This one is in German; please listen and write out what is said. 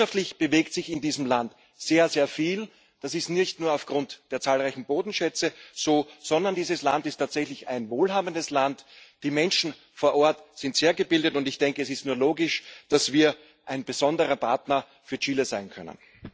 Wirtschaftlich bewegt sich in diesem Land sehr viel. Das ist nicht nur aufgrund der zahlreichen Bodenschätze so, sondern dieses Land ist tatsächlich ein wohlhabendes Land. Die Menschen vor Ort sind sehr gebildet, und ich denke, es ist nur logisch, dass wir ein besonderer Partner für Chile sein können.